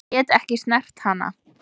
Get ekki snert hana.